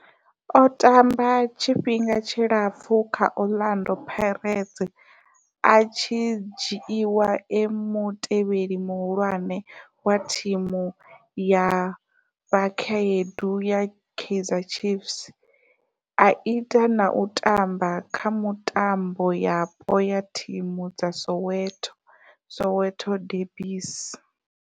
O tamba tshifhinga tshilapfhu kha Orlando Pirates, a tshi dzhiiwa e mutevheli muhulwane wa thimu ya vhakhaedu ya Kaizer Chiefs, a ita na u tamba kha mitambo yapo ya thimu dza Soweto, Soweto derbies.